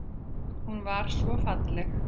Hún var svo falleg.